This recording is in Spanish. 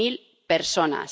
mil personas